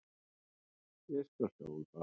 Ég skal sjá um það.